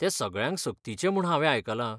तें सगळ्यांक सक्तीचें म्हूण हांवें आयकलां.